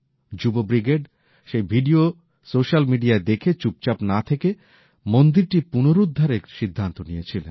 যুব ব্রিগেড সেই video social মিডিয়ায় দেখে চুপচাপ না থেকে মন্দিরটির পুনরুদ্ধারের সিদ্ধান্ত নিয়েছিলেন